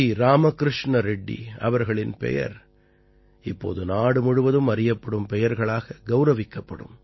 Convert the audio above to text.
ராமகிருஷ்ண ரெட்டி அவர்களின் பெயர் இப்போது நாடு முழுவதும் அறியப்படும் பெயர்களாக கௌரவிக்கப்படும்